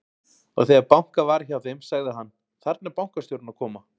Og þegar bankað var hjá þeim, sagði hann: Þarna er bankastjórinn að koma.